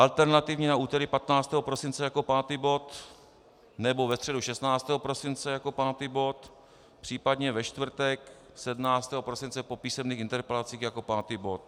Alternativně na úterý 15. prosince jako pátý bod, nebo ve středu 16. prosince jako pátý bod, případně ve čtvrtek 17. prosince po písemných interpelacích jako pátý bod.